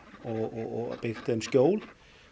og byggt þeim skjól